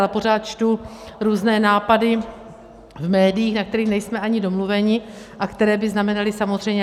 Ale pořád čtu různé nápady v médiích, na kterých nejsme ani domluveni a které by znamenaly samozřejmě...